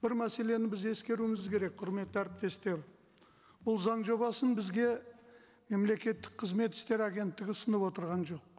бір мәселені біз ескеруіміз керек құрметті әріптестер бұл заң жобасын бізге мемлекеттік қызмет істері агенттігі ұсынып отырған жоқ